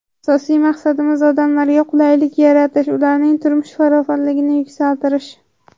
Asosiy maqsadimiz odamlarga qulaylik yaratish, ularning turmush farovonligini yuksaltirish.